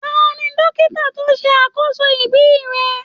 Taní dókítà to ṣe àkóso ibí rẹ?